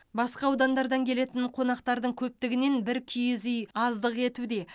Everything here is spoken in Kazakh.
басқа аудандардан келетін қонақтардың көптігінен бір киіз үй аздық етуде